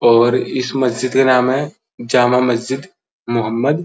और इस मस्जिद का नाम है जामा मस्जिद मोहमद --